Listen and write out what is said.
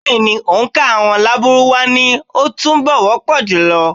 Bẹ́ẹ̀ ni, òǹkà àwọn Lárúbáwá ni ó túnbọ̀ wọ́ pọ̀ jùlọ.